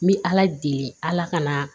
N bɛ ala deli ala ka na